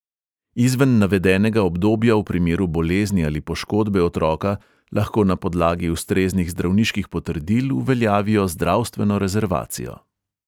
Izven navedenega obdobja v primeru bolezni ali poškodbe otroka lahko na podlagi ustreznih zdravniških potrdil uveljavijo zdravstveno rezervacijo.